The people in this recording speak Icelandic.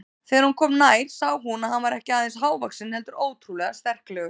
Þegar hún kom nær sá hún að hann var ekki aðeins hávaxinn heldur ótrúlega sterklegur.